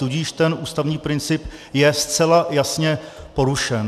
Tudíž ten ústavní princip je zcela jasně porušen.